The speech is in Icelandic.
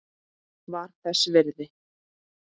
Var þess virði!